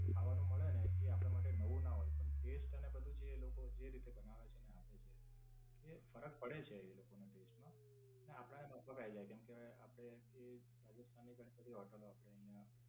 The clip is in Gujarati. ત્યાં ખાવાનું મળે ને એ આપડા માટે નવું ના હોય પણ ટેસ્ટ ને બધું જે એ લોકો જે રીતે બનાવે છે ને આપડી જેમ. એ ફરક પડે છે એ લોકો ના ટેસ્ટ માં. ને આપડા ને માફક આયી જાય કેમકે આપડે આય થી રાજસ્થાન ની ઘણી બધી હોટેલ આપડે અહીંયા